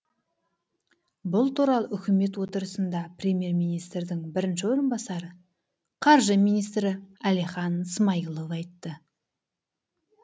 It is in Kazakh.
бұл туралы үкімет отырысында премьер министрдің бірінші орынбасары қаржы министрі әлихан смайылов айтты